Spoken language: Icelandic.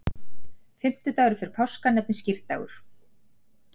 Fimmtudagur fyrir páska nefnist skírdagur.